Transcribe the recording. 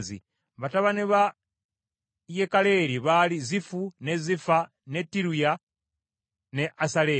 Batabani ba Yekalereri baali Zifu, ne Zifa, ne Tiriya ne Asaleri.